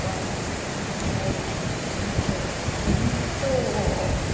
падает это неправильно это нечётко это не то